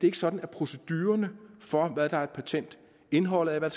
ikke sådan at procedurerne for hvad der er et patent indholdet af hvad